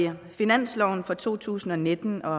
finansloven for to tusind og nitten og